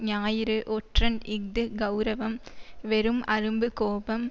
ஞாயிறு ஒற்றன் இஃது கெளரவம் வெறும் அரும்பு கோபம்